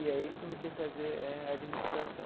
E aí comecei a fazer eh administração.